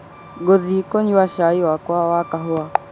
ngũthiĩ kũnyua cai wakwa wa kahuwa